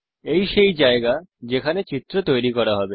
এই সেই জায়গা যেখানে চিত্র তৈরি করা হবে